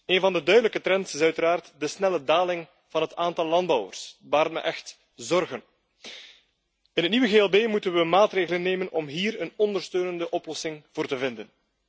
Een van de duidelijke trends is uiteraard de snelle daling van het aantal landbouwers, dat baart me echt zorgen. In het nieuwe GLB moeten we maatregelen nemen om hier een ondersteunende oplossing voor te vinden.